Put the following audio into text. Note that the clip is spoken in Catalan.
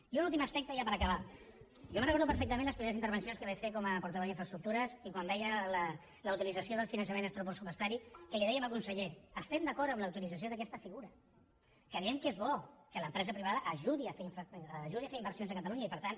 i un últim aspecte ja per acabar jo recordo perfectament de les primeres intervencions que vaig fer com a portaveu d’infraestructures i quan veia la utilització del finançament extrapressupostari que li dèiem al conseller estem d’acord amb la utilització d’aquesta figura creiem que és bo que l’empresa privada ajudi a fer inversions a catalunya i per tant